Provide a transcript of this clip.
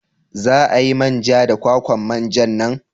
Za a yi man ja da kwakwan manja nan?